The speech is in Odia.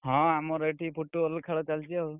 ହଁ, ଆମର ଏଠି ଫୁଟ ball ଖେଳ ଚାଲିଛି ଆଉ।